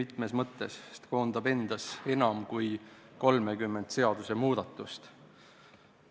Esiteks seepärast, et see koondab endas enam kui 30 seadusemuudatust.